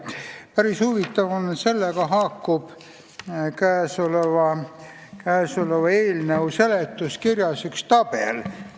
Päris huvitav on, et sellega haakub käesoleva eelnõu seletuskirja üks tabel.